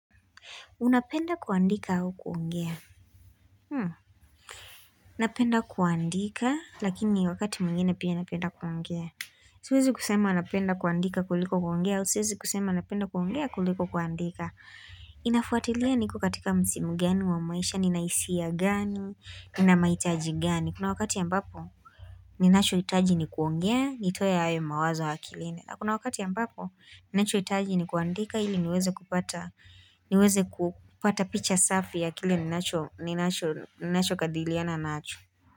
Unapenda kuandika au kuongea? Napenda kuandika, lakini wakati mwingine pia napenda kuongea. Siwezi kusema napenda kuandika kuliko kuongea, au siwezi kusema napenda kuongea kuliko kuandika. Inafuatilia niko katika msimu gani wa maisha, nina hisia gani, nina mahitaji gani. Kuna wakati ambapo, ninachohitaji ni kuongea, nitoe hayo mawazo akilini. Na Kuna wakati ambapo, ninachohitaji ni kuandika ili niweze kupata, niweze kupata picha safi ya kile ninacho ninachokadiliana nacho.